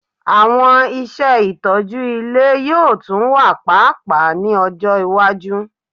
Awọn iṣẹ itọju ile yoo tun wa paapaa ni ọjọ iwaju